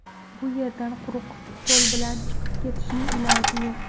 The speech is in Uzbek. Bu yerdan quruq qo‘l bilan chiqib ketishning iloji yo‘q!